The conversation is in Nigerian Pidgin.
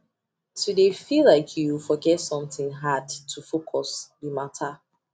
to de feel like you forget something hard to focus be matter